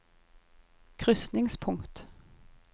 krysningspunkt